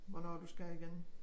Hvornår du skal igen